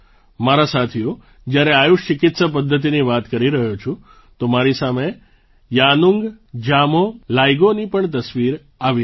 મારા સાથીઓ જ્યારે આયુષ ચિકિત્સા પદ્ધતિની વાત કરી રહ્યો છું તો મારી સામે યાનુંગ જામોહ લૈગોની પણ તસવીર આવી રહી છે